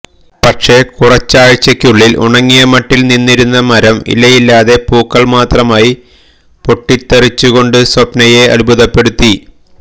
പക്ഷെ കുറച്ചാഴ്ചകള്ക്കുള്ളില് ഉണങ്ങിയ മട്ടില് നിന്നിരുന്ന മരം ഇലയില്ലാതെ പൂക്കള് മാത്രമായി പൊട്ടിത്തരിച്ചുകൊണ്ട് സ്വപ്നയെ അത്ഭുതപ്പെടുത്തി